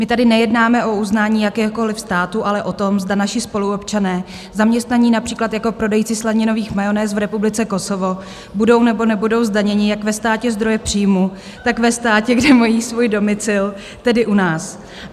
My tady nejednáme o uznání jakékoliv státu, ale o tom, zda naši spoluobčané zaměstnaní například jako prodejci slaninových majonéz v Republice Kosovo budou, nebo nebudou zdaněni jak ve státě zdroje příjmu, tak ve státě, kde mají svůj domicil, tedy u nás.